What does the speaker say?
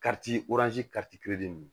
ninnu